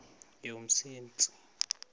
yomsintsi